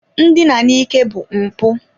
Ndina n'ike bụ mpụ